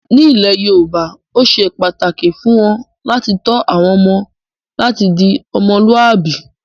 Nílẹ̀ Yorùbá ó ṣe pàtàkì fún wọn làti tọ́ àwọn ọmọ láti di "Ọmọlúwàbí".